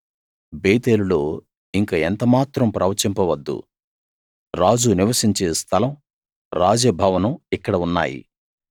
బేతేలులో ఇంక ఎంత మాత్రం ప్రవచించవద్దు రాజు నివసించే స్థలం రాజభవనం ఇక్కడ ఉన్నాయి